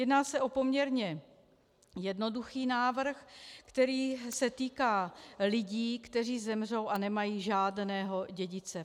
Jedná se o poměrně jednoduchý návrh, který se týká lidí, kteří zemřou a nemají žádného dědice.